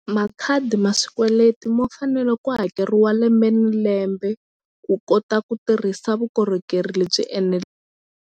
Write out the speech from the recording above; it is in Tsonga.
Makhadi ma swikweleti mo fanele ku hakeriwa lembe ni lembe ku kota ku tirhisa vukorhokeri lebyi .